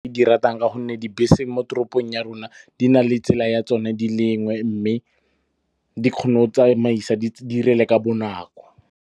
Ke di ratang ka gonne dibese mo toropong ya rona di na le tsela ya tsone di lengwe. Mme di kgona o tsamaisa di 'irele ka bonako.